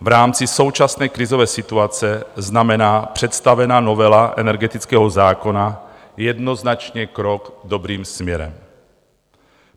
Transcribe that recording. V rámci současné krizové situace znamená představená novela energetického zákona jednoznačně krok dobrým směrem.